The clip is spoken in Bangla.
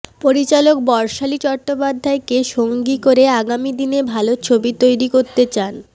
পরিচালক বর্ষালি চট্টোপাধ্যায় কে সঙ্গী করে আগামীদিনে ভালো ছবি তৈরি করতে চান